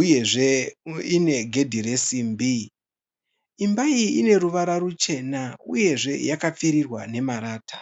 uyezve inegedhe resimbi. Imba iyi ine ruvara ruchena uyezve yakapfirirwa nemarata.